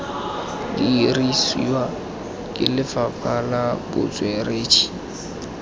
dirisiwa ke lefapha la botsweretshi